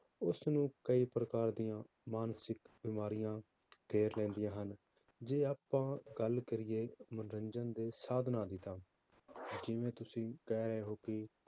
ਉਸਨੂੰ ਕਈ ਪ੍ਰਕਾਰ ਦੀਆਂ ਮਾਨਸਿਕ ਬਿਮਾਰੀਆਂ ਘੇਰ ਲੈਂਦੀਆਂ ਹਨ, ਜੇ ਆਪਾਂ ਗੱਲ ਕਰੀਏ ਮਨੋਰੰਜਨ ਦੇ ਸਾਧਨਾਂ ਦੀ ਤਾਂ ਜਿਵੇਂ ਤੁਸੀਂ ਕਹਿ ਰਹੇ ਹੋ ਕਿ